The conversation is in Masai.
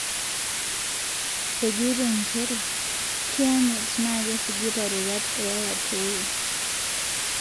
Ejoito njere kianyit na kesujita rorwat e Yaya Toure.